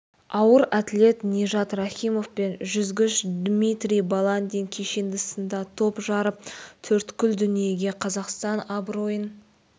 ауыр атлет нижат рахимов пен жүзгіш дмитрий баландин кешенді сында топ жарып төрткүл дүниеге қазақстан абыройын